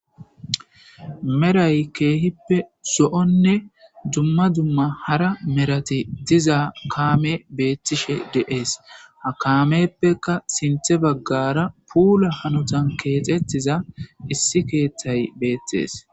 meray keehippe zo'onne dumma dumma hara merati diza kaame beettishe de'ees ha kaameppeka sinthe baggara puula hanotan keexettiza issi keeththay beettes